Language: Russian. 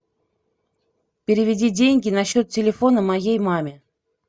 переведи деньги на счет телефона моей маме